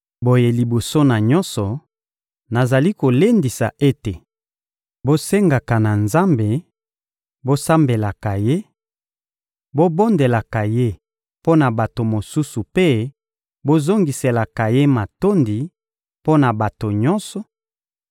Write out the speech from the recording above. Boye liboso na nyonso, nazali kolendisa ete bosengaka na Nzambe, bosambelaka Ye, bobondelaka Ye mpo na bato mosusu mpe bozongiselaka Ye matondi mpo na bato nyonso,